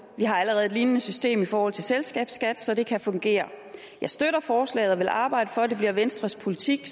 vi har allerede et lignende system i forhold til selskabsskat så det kan fungere jeg støtter forslaget og vil arbejde for at det bliver venstres politik